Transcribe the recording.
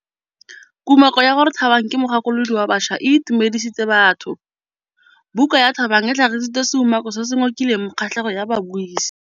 Kumakô ya gore Thabang ke mogakolodi wa baša e itumedisitse batho. Buka ya Thabang e tlhagitse seumakô se se ngokileng kgatlhegô ya babuisi.